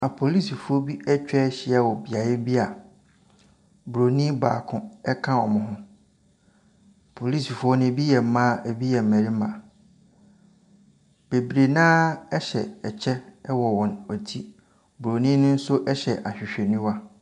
Apolisifoɔ bi atwahyia wɔ beaeɛ bi a broni baako ɛka wɔn ho. Polisifoɔ no ebi yɛ mmaa, ebi yɛ mmarima. Bebree noa hyɛ kyɛ ɛwɔ wɔn ti. Broni no nso hyɛ ahwehwɛniwa.